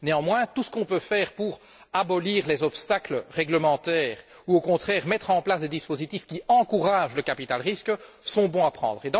Néanmoins, tout ce qu'on peut faire pour supprimer les obstacles réglementaires ou, au contraire, mettre en place des dispositifs qui encouragent le capital risque est bon à prendre.